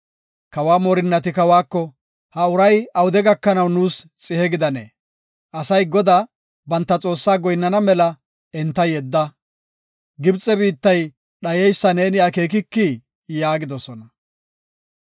Kawa moorinnati kawako, “Ha uray awude gakanaw nuus xihe gidanee? Asay Godaa, banta Xoossaa goyinnana mela enta yedda. Gibxe biittay dhayeysa neeni akeekikii?” yaagidosona.